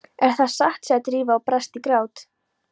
En það er satt sagði Drífa og brast í grát.